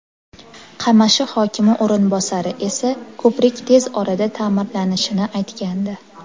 Qamashi hokimi o‘rinbosari esa ko‘prik tez orada ta’mirlanishini aytgandi.